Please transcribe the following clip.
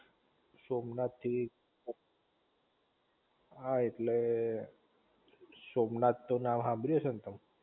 સોમનાથ થી હા ઍટલે સોમનાથ તો નામ હાંભળ્યું હશે ને તમે?